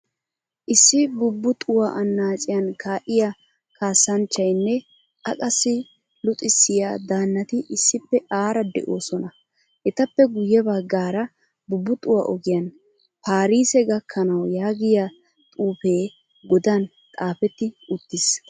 Issi bubuxuwaa annaciyan ka'iyaa kaasanchchaynne a qassi luxisiya daanati issippe aaraa deosona. Etappe guye baggaara bubuxuwaa ogiyan paarise gakkanawu yaagiyaa xuufe godan xaafetti uttiis.